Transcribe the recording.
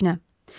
Heç nə.